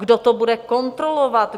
Kdo to bude kontrolovat?